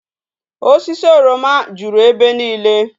Osisi oroma juru ebe niile